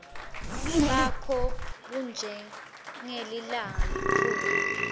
bakho bunjengelilanga liphuma